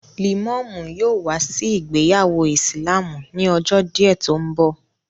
Lẹ̀mọ́mú yóò wá sí ìgbéyàwó ìsìlámù ni ọjọ́ díẹ̀ tó ń bọ̀